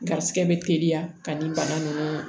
Garisigɛ be teliya ka ni bana nunnu